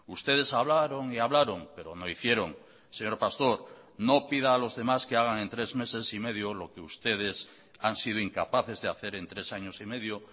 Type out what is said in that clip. ustedes hablaron y hablaron pero no hicieron señor pastor no pida a los demás que hagan en tres meses y medio lo que ustedes han sido incapaces de hacer en tres años y medio